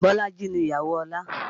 Bolaji ni ìyàwó Ọlá